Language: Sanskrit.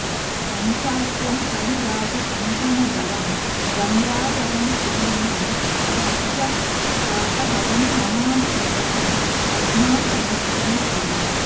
पञ्चास्यं फणिराजकङ्कणधरं गङ्गाधरं शूलिनं त्र्यक्षं पापहरं नमामि सततं पद्मासनस्थं शिवम्